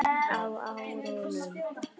Á árunum